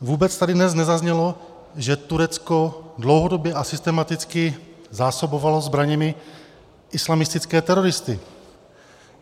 Vůbec tady dnes nezaznělo, že Turecko dlouhodobě a systematicky zásobovalo zbraněmi islamistické teroristy.